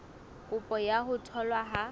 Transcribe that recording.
kopo ya ho tholwa ha